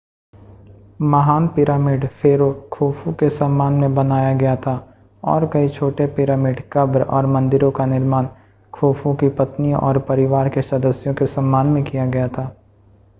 महान pyramid pharaoh Khufu के सम्मान में बनाया गया था और कई छोटे पिरामिड कब्र और मंदिरों का निर्माण खुफू की पत्नियों और परिवार के सदस्यों के सम्मान में किया गया था